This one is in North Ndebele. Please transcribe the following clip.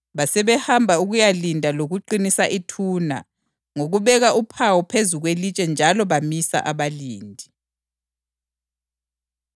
Basebehamba ukuyalinda lokuqinisa ithuna ngokubeka uphawu phezu kwelitshe njalo bamisa abalindi.